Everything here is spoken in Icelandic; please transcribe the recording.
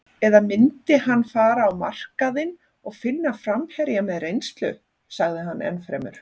Eða myndi hann fara á markaðinn og finna framherja með reynslu? sagði hann ennfremur.